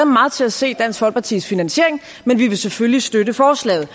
meget til at se dansk folkepartis finansiering men vi vil selvfølgelig støtte forslaget